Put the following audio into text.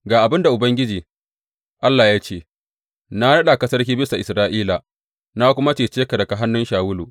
Ga abin da Ubangiji, Allah ya ce, Na naɗa ka sarki bisa Isra’ila, na kuma cece ka daga hannun Shawulu.